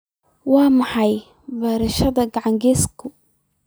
Waa maxay beerashada ganacsigu?